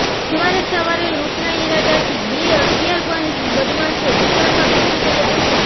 બુધવારે સવારે લૂંટનાં ઈરાદાથી બે હથિયારબંધ બદમાશો દુકાનમાં ઘુસી ગયા હતાં